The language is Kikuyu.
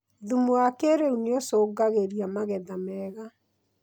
Thumu wa kĩrĩu nĩũcũngagĩria magetha mega